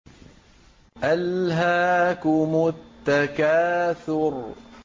أَلْهَاكُمُ التَّكَاثُرُ